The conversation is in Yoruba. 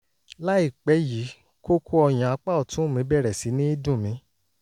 láìpẹ́ yìí kókó ọyàn apá ọ̀tún mi bẹ̀rẹ̀ sí ní dùn mí